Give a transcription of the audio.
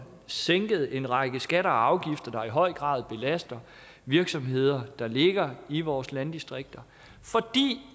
sænket en række skatter og afgifter der i høj grad belaster virksomheder der ligger i vores landdistrikter fordi